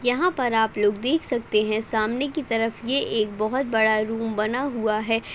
यहाँ पर आप लोग देख सकते हैं सामने की तरफ ये एक बोहोत बड़ा रूम बना हुआ है --